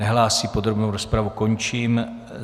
Nehlásí, podrobnou rozpravu končím.